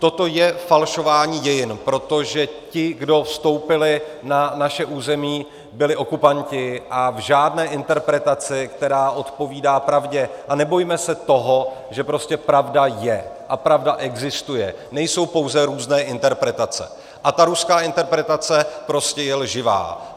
Toto je falšování dějin, protože ti, kdo vstoupili na naše území, byli okupanti - a v žádné interpretaci, která odpovídá pravdě, a nebojme se toho, že prostě pravda je a pravda existuje, nejsou pouze různé interpretace, a ta ruská interpretace prostě je lživá.